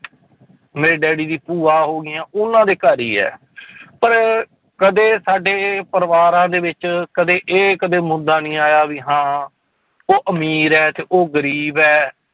ਮੇਰੇ ਡੈਡੀ ਦੀ ਭੂਆ ਹੋ ਗਈਆਂ ਉਹਨਾਂ ਦੇ ਘਰ ਹੀ ਹੈ ਪਰ ਕਦੇ ਸਾਡੇ ਪਰਿਵਾਰਾਂ ਦੇ ਵਿੱਚ ਕਦੇ ਇਹ ਕਦੇ ਮੁੱਦਾ ਨੀ ਆਇਆ ਵੀ ਹਾਂ ਉਹ ਅਮੀਰ ਹੈ ਤੇ ਉਹ ਗ਼ਰੀਬ ਹੈ।